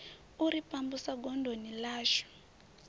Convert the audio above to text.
u ri pambusa godoni ḽashu